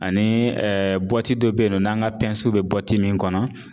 Ani dɔ be yen nɔ n'an ka w bɛ min kɔnɔ